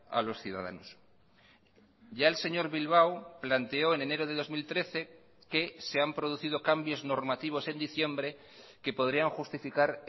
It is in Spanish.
a los ciudadanos ya el señor bilbao planteó en enero de dos mil trece que se han producido cambios normativos en diciembre que podrían justificar